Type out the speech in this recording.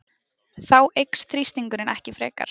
Þá eykst þrýstingur ekki frekar.